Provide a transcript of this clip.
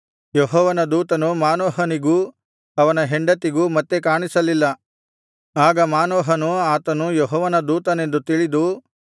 ಯೆಹೋವನ ದೂತನು ಮಾನೋಹನಿಗೂ ಅವನ ಹೆಂಡತಿಗೂ ಮತ್ತೆ ಕಾಣಿಸಲಿಲ್ಲ ಆಗ ಮಾನೋಹನು ಆತನು ಯೆಹೋವನ ದೂತನೆಂದು ತಿಳಿದು